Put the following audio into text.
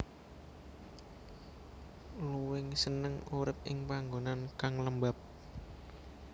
Luwing seneng urip ing panggonan kang lembab